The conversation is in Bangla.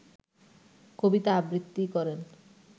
কবিতা আবৃত্তি করেন